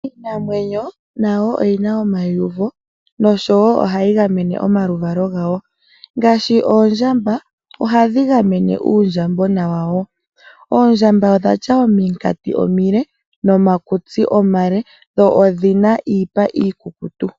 Iinamwenyo nayo oyi na omaiuvo osho wo ohayi gamene omaluvalo gawo ngaashi oondjamba ohadhi gamene uundjambagona wawo. Oondjamba odha tya ominkati omile nomakutsi dho odhi na iipa iikukutu.